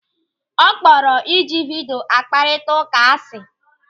Ọ kpọrọ ịji vidio akparita ụka asị.